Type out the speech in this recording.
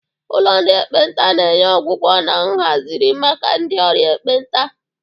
Ụlọ ndị ekpenta na-enye ọgwụgwọ na nhazigharị maka ndị ọrịa ekpenta.